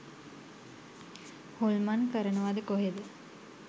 හොල්මන් කරනවද කොහෙද.